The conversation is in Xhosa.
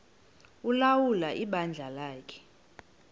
ulawula ibandla lakhe